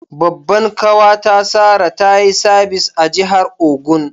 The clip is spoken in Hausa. Babban kawa ta Sarah, ta yi sabis a'jihar Ogun.